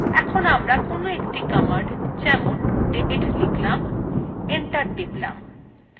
enter টিপলাম